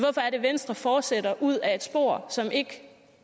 at venstre fortsætter ud ad et spor som ikke